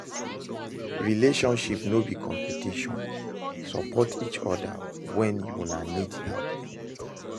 Relationship no be competition, support each other when una need help